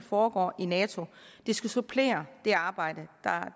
foregår i nato det skal supplere det arbejde